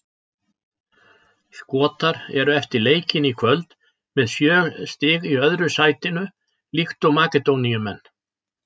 Skotar eru eftir leikinn í kvöld með sjö stig í öðru sætinu líkt og Makedóníumenn.